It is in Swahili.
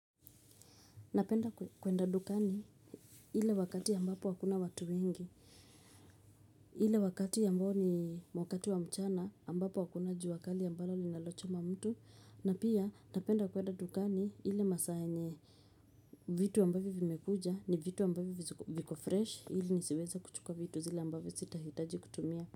Napenda kwenda dukani ile wakati ambapo hakuna watu wengi, ile wakati ambapo ni wakati wa mchana, ambapo hakuna jua kali ambalo linalochoma mtu, na pia napenda kwenda dukani ile masaa yenye vitu ambavyo vimekuja ni vitu ambavyo viko fresh, ili nisiweze kuchuka vitu zile ambavyo sitahitaji kutumia.